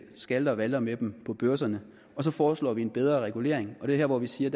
skalter og valter med dem på børserne så foreslår vi en bedre regulering og det her hvor vi siger